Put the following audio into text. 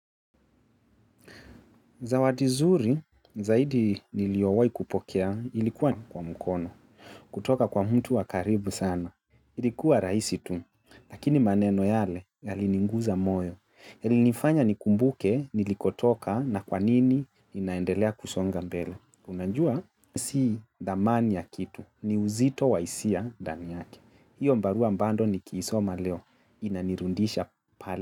Zawadi zuri zaidi niliyowai kupokea ilikuwa kwa mkono kutoka kwa mtu wakaribu sana ilikuwa rahisi tu lakini maneno yale yali niguza moyo yali nifanya nikumbuke nilikotoka na kwanini inaendelea kusonga mbele unajua si dhamani ya kitu ni uzito wahisia ndani yake hiyo barua bado nikiisoma leo inanirudisha pale.